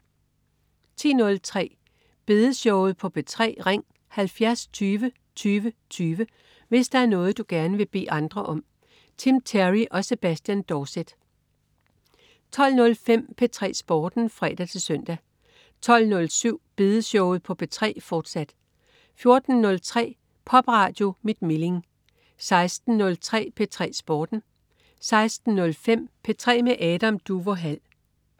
10.03 Bedeshowet på P3. Ring 70 20 20 20, hvis der er noget, du gerne vil bede andre om. Tim Terry og Sebastian Dorset 12.05 P3 Sporten (fre-søn) 12.07 Bedeshowet på P3, fortsat 14.03 Popradio mit Milling 16.03 P3 Sporten 16.05 P3 med Adam Duvå Hall